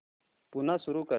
पुन्हा सुरू कर